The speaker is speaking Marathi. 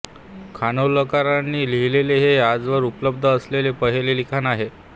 खानोलकरांनी लिहिलेले हे आजवर उपलब्ध असलेले पहिले लिखाण आहे